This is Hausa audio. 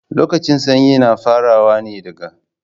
Lokacin sanyi na farawa ne daga